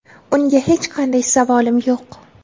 Unga hech qanday savolim yo‘q.